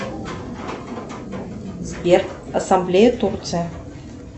сбер ассамблея турция